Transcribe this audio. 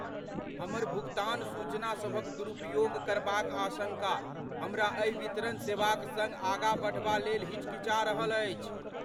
हमर भुगतान सूचना सभक दुरुपयोग करबाक आशंका हमरा एहि वितरण सेवाक सङ्ग आगाँ बढ़बा लेल हिचकिचा रहल अछि।